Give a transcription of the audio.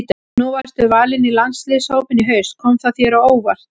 Nú varstu valinn í landsliðshópinn í haust, kom það þér á óvart?